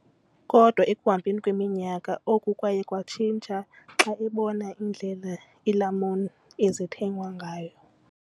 Kodwa ekuhambeni kweminyaka, oku kwaye kwatshintsha xa ebona indlela iilamuni ezithengwa ngayo.